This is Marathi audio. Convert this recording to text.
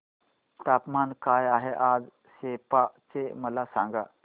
तापमान काय आहे आज सेप्पा चे मला सांगा